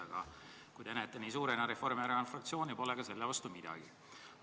Aga kui te näete Reformierakonna fraktsiooni nii suurena, pole mul ka selle vastu midagi.